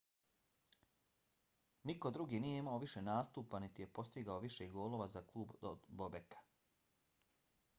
niko drugi nije imao više nastupa niti je postigao više golova za klub od bobeka